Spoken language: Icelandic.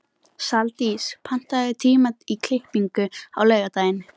Saldís, pantaðu tíma í klippingu á laugardaginn.